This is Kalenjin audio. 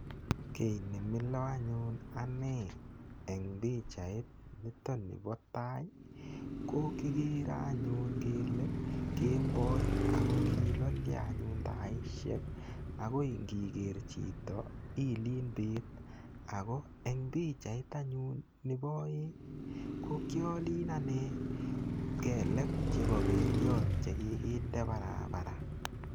Ki nemilo anyun anee en pichait nitok nipo tai, kokikere anyun kele kemboi ako kilolyo anyun taisiek ako ngiker chito ilen bet, ako en pichait anyun nebo aeng kokyolen anee kelek chepo Beliot chekikindet barabara.